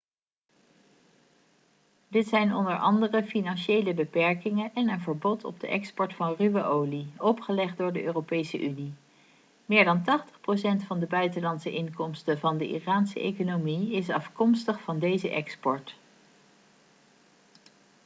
dit zijn onder andere financiële beperkingen en een verbod op de export van ruwe olie opgelegd door de europese unie meer dan 80% van de buitenlandse inkomsten van de iraanse economie is afkomstig van deze export